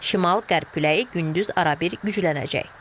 Şimal qərb küləyi gündüz arabir güclənəcək.